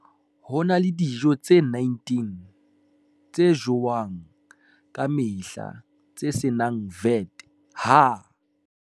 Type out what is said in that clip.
Ho na le dijo tse 19 tse jowang ka mehla tse se nang VAT ha